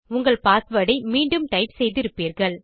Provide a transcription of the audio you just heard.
உங்கள் பாஸ்வேர்ட் ஐ மீண்டும் டைப் செய்திருப்பீர்கள்